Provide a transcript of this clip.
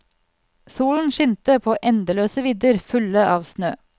Solen skinte på endeløse vidder fulle av snø.